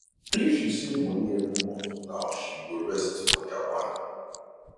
if she save money every month now she go rest for japan